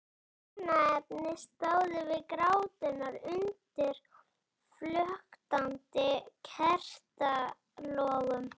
Hjónaefnin stóðu við gráturnar undir flöktandi kertalogum.